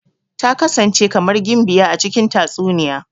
Ta kasance kamar gimbiya a cikin tatsuniya.